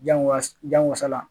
Jango wasa jan wasala